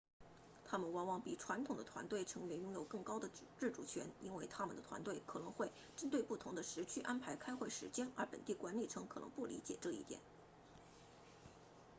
他们往往比传统的团队成员拥有更多的自主权因为他们的团队可能会针对不同的时区安排开会时间而本地管理层可能不理解这一点